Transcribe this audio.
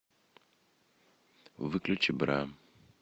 выключи бра